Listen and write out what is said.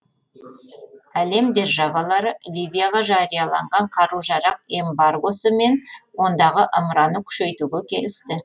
әлем державалары ливияға жарияланған қару жарақ эмбаргосы мен ондағы ымыраны күшейтуге келісті